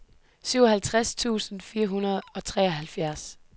syvoghalvtreds tusind fire hundrede og treoghalvfjerds